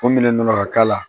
Ko minɛn nana ka k'a la